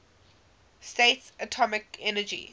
states atomic energy